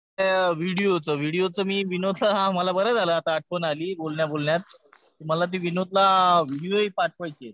व्हिडिओचं. व्हिडिओचं मी विनोदला बरं झालं मला आठवण झाली बोलण्या बोलण्यात. मला ते विनोदला व्हिडीओही पाठवायचे.